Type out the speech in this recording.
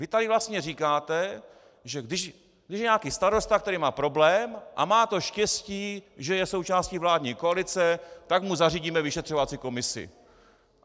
Vy tady vlastně říkáte, že když je nějaký starosta, který má problém a má to štěstí, že je součástí vládní koalice, tak mu zařídíme vyšetřovací komisi.